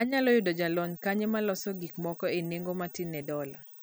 Anyalo yudo jalony kanye maloso gik moko e nengo matin ne dola